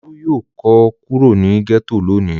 Olú yóò kó kúrò ní gẹ́tò lónìí.